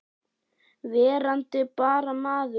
Verandi bara maður.